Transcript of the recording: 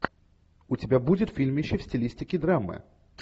у тебя будет фильмище в стилистике драмы